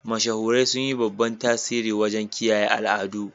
Mashahurai sun yi babban tasiri wajen kiyaye al'adu.